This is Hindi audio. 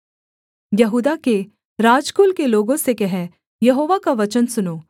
यहूदा के राजकुल के लोगों से कह यहोवा का वचन सुनो